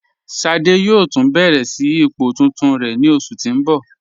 Ṣádé yóò tun bẹ̀rẹ̀ sí ipò tuntun rẹ ni oṣù tí n bọ.